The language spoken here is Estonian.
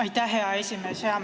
Aitäh, hea esimees!